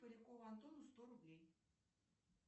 полякову антону сто рублей